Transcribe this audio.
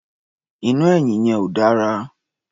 Iná ẹ̀yìn yẹn ò dára.